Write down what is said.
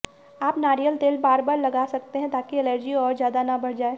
आप नारियल तेल बार बार लगा सकते हैं ताकि एलर्जी और ज़्यादा ना बढ़ जाए